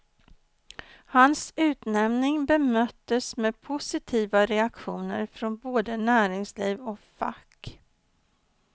Hans utnämning bemöttes med positiva reaktioner från både näringsliv och fack.